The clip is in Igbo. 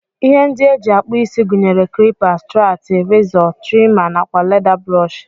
Ihe ndi eji akpụ isi gunyere klipa, strati rizọ, trima nakwa leda brọsh.